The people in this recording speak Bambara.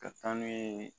Ka taa n'u ye